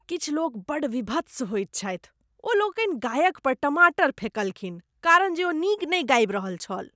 किछु लोक बड्ड वीभत्स होएत छथि। ओ लोकनि गायक पर टमाटर फेंकलखीन कारण जे ओ नीक नहि गाबि रहल छल।